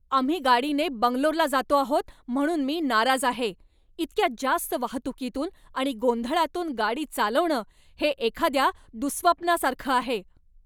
आम्ही गाडीने बंगलोरला जातो आहोत म्हणून मी नाराज आहे. इतक्या जास्त वाहतुकीतून आणि गोंधळातून गाडी चालवणं हे एखाद्या दुःस्वप्नासारखं आहे!